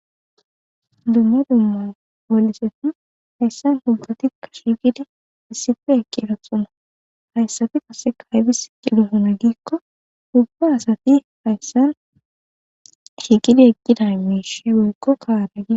Dumma dumma wonchoti hayssa botatika shiqqidi issippe eqqidosona hayssati qasseka aybbis eqqidosona giikko ubba adati hayssan shiiqidi eqqida mishshi woykko qareb----